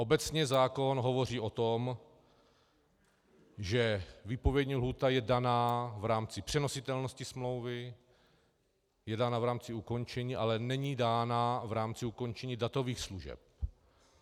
Obecně zákon hovoří o tom, že výpovědní lhůta je daná v rámci přenositelnosti smlouvy, je dána v rámci ukončení, ale není dána v rámci ukončení datových služeb.